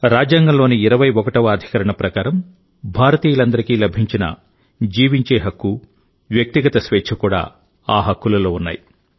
రాజ్యాంగంలోని 21వ అధికరణం ప్రకారం భారతీయులందరికీ లభించిన జీవించే హక్కు వ్యక్తిగత స్వేచ్ఛ కూడా ఆ హక్కులలో ఉన్నాయి